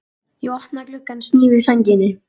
Ég opna gluggann, sný við sænginni.